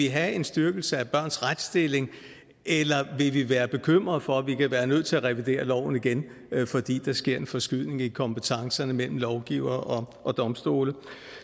have en styrkelse af børns retsstilling eller vi vil være bekymrede for at vi kan være nødt til at revidere loven igen fordi der sker en forskydning i kompetencerne mellem lovgivere og domstolene